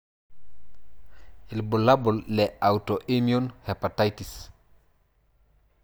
Ibulabul le Autoimmune hepatitis.